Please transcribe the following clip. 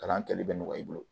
Kalan kɛli bɛ nɔgɔya i bolo